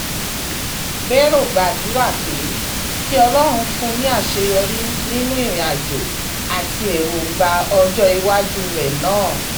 báèrò gbàdúrà pé kí ọlọ́run fún un ní àṣeyọrí nínú ìrìnàjò àti èròǹgbà ọjọ́ iwájú rẹ̀ náà